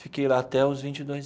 Fiquei lá até os vinte e dois.